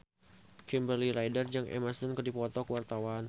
Kimberly Ryder jeung Emma Stone keur dipoto ku wartawan